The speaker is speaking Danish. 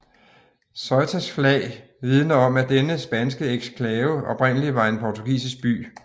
Ceutas flag vidner om at denne spanske eksklave oprindelig var en portugisisk by